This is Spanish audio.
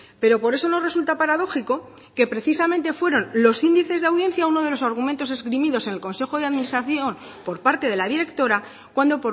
pero por eso nos resulta paradójico que precisamente fueron los índices de audiencia uno de los argumentos esgrimidos en el consejo de administración por parte de la directora cuando